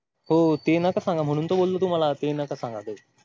हो ते नका सांगा म्हणून तर बोलले तुम्हांला ते नका सांगा.